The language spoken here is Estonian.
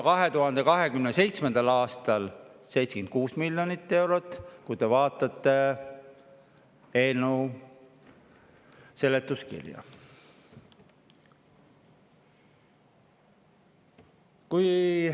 2027. aastal teeb see juba 76 miljonit eurot,, kui te vaatate eelnõu seletuskirja.